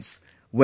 Friends,